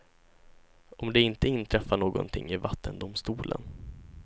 Om det inte inträffar någonting i vattendomstolen.